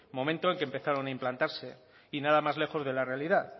momento en que empezaron a implantarse y nada más lejos de la realidad